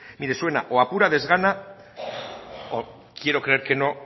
mire suena a pura desgana o quiero creer que no